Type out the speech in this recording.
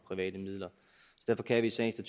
en